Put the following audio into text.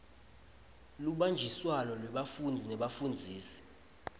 lubanjiswano lwebafundzi nebafundzisi